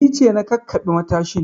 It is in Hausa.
Ni ce na kakkaɓe matashin